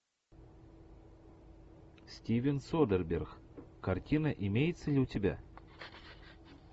стивен содерберг картина имеется ли у тебя